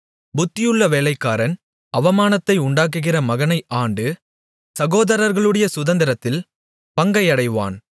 புத்தியுள்ள வேலைக்காரன் அவமானத்தை உண்டாக்குகிற மகனை ஆண்டு சகோதரர்களுடைய சுதந்தரத்தில் பங்கை அடைவான்